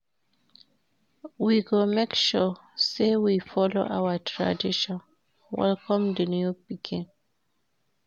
We go make sure sey we folo our tradition welcome di new pikin.